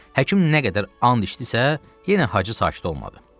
Həkim nə qədər and içdisə, yenə Hacı sakit olmadı.